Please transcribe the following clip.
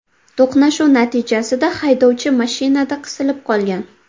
To‘qnashuv natijasida haydovchi mashinada qisilib qolgan.